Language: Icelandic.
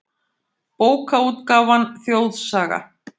Bókaútgáfan Þjóðsaga.